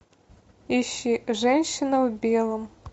ищи женщина в белом